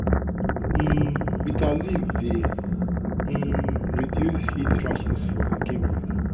um bitter leaf dey um reduce heat rashes for pikin body.